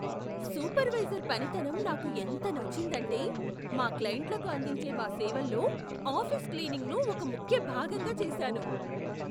Supervisor పనితనం నాకు ఎంత నచ్చిందంటే, మా క్లెయింట్లకు అందించే మా సేవల్లో ఆఫీస్ క్లీనింగ్ను ఒక ముఖ్య భాగంగా చేసాను.